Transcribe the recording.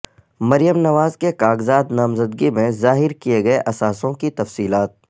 مریم نواز کے کاغذات نامزدگی میں ظاہر کئے گئے اثاثوں کی تفصیلات